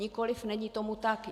Nikoli, není tomu tak.